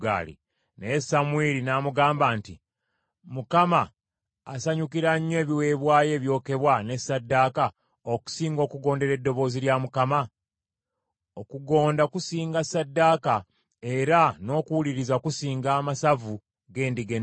Naye Samwiri n’amugamba nti, “ Mukama asanyukira nnyo ebiweebwayo ebyokebwa ne ssaddaaka, okusinga okugondera eddoboozi lya Mukama ? Okugonda kusinga ssaddaaka, era n’okuwuliriza kusinga amasavu g’endiga ennume.